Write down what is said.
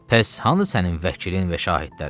Bəs hanı sənin vəkilin və şahidlərin?